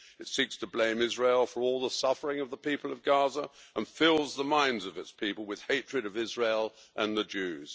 It seeks to blame Israel for all the suffering of the people of Gaza and fills the minds of its people with hatred of Israel and the Jews.